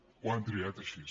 ho han triat així